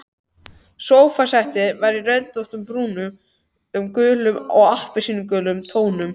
Sófasettið var röndótt í brúnum, gulum og appelsínurauðum tónum.